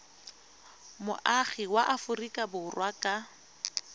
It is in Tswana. moagi wa aforika borwa ka